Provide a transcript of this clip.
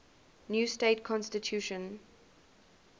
new state constitution